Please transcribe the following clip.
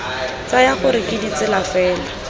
tsaya gore ke ditsala fela